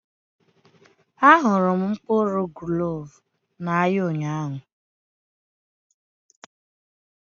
Ahụrụ m mkpụrụ gloves n'ahịa ụnyaahụ